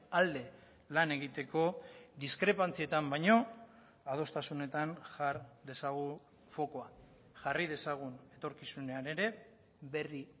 alde lan egiteko diskrepantzietan baino adostasunetan jar dezagun fokua jarri dezagun etorkizunean ere berri